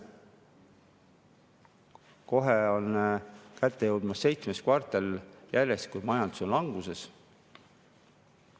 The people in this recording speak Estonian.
Kohe on kätte jõudmas seitsmes kvartal järjest, kui majandus on languses.